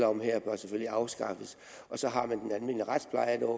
om her bør selvfølgelig afskaffes så har man den almindelige retsplejelov